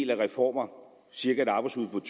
de reformer cirka et arbejdsudbud